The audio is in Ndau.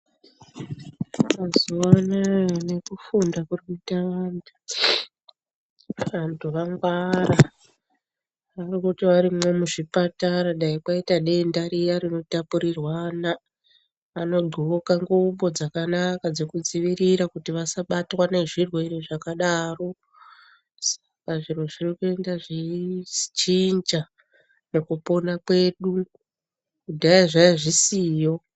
Mazuwanaya nekufunda kuri kuita vantu , vantu vagwara varikuti varimwo muzvipatara dai kwaita denda riya rinotapurirwana anodxoka ngubo dzakanaka dzekuzvidzivirira kuti vasabatwa nezvirwere zvakadaro saka zviro zviro zvirikuenda zveichinja mukopona kwedu kudhaya zvaiya zvisiyo.